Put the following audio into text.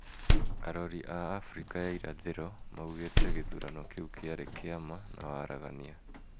Arori a Afrika ya irathiro maugite githurano kiu kiari kia ma na waragania,